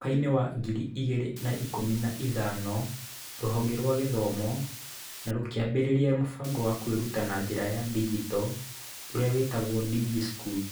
Mwaka-inĩ wa ngiri igĩrĩ na ikũmi na ithano, rũhonge rwa gĩthomo nĩ rũkĩambĩrĩria mũbango wa kwĩruta na njĩra ya digito, ũrĩa wĩtagwo DigiSchool.